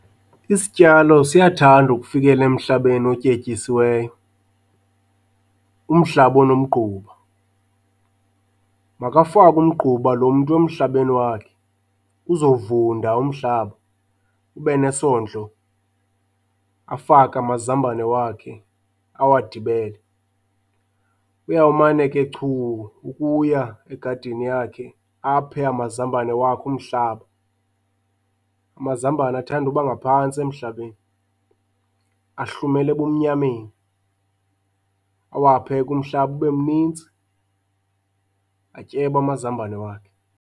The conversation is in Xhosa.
Isityalo siyathanda ukufikela emhlabeni otyetyisiweyo, umhlaba onomgquba. Makafake umgquba lo mntu emhlabeni wakhe uzovunda umhlaba ube nesondlo, afake amazambane wakhe awadibele. Uyawumane ke chu ukuya egadini yakhe aphe amazambane wakhe umhlaba. Amazambane athanda uba ngaphantsi emhlabeni, ahlumela ebumnyameni, awaphe ke umhlaba ube mninzi, atyebe amazambane wakhe.